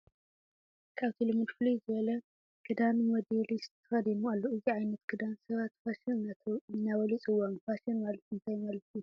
ካብቲ ልሙድ ፍልይ ዝበለ ክዳን ሞዴሊስት ተኸዲኖሞ ኣለዉ፡፡ ነዚ ዓይነት ክዳን ሰባት ፋሽን እናበሉ ይፅውዕዎ፡፡ ፋሽን ማለት እንታይ ማለት እዩ?